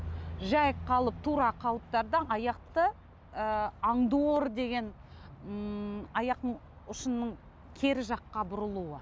жай қалып тура қалыптарда аяқты ы аңдор деген ммм аяқтың ұшының кері жаққа бұрылуы